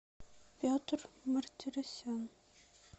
петр мартиросян